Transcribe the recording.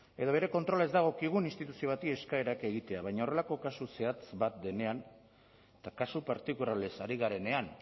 edo bere kontrola ez dagokigun instituzio bati eskaerak egitea baina horrelako kasu zehatz bat denean eta kasu partikularrez ari garenean